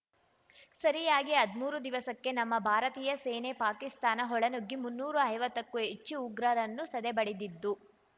ಸರಿಯಾಗಿ ಹದಿಮೂರು ದಿವಸಕ್ಕೆ ನಮ್ಮ ಭಾರತೀಯ ಸೇನೆ ಪಾಕಿಸ್ತಾನ ಒಳನುಗ್ಗಿ ಮುನ್ನೂರೈವತ್ತಕ್ಕೂ ಹೆಚ್ಚು ಉಗ್ರರನ್ನು ಸದೆಬಡಿದಿದ್ದು